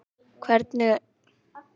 Laufey, hvernig er veðurspáin?